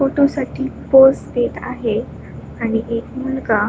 photo साठी pose देत आहे आणि एक मुलगा--